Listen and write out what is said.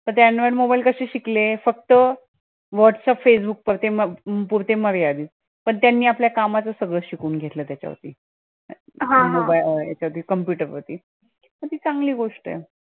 android mobile कशे शिकले फक्त, whatsapp, facebook पुरते मर्यादित, पण त्यांनी आपल्या कामाचंच सगळं शिकून घेतला त्याचा वरती, computer वरती. पण ती चांगली गोष्ट ए.